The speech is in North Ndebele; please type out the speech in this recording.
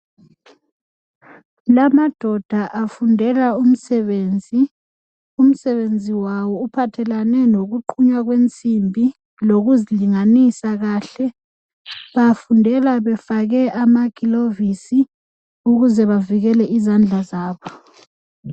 lamadoda afundela umsebenzi umsebenzi wawo uphathelane lokuqunywa kwensimbi lokuzilinganisa kahle bafundela befake amagilovisi ukuze bavikele izandla zabo